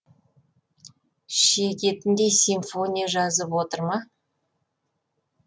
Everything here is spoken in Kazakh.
шегетіндей симфония жазып отыр ма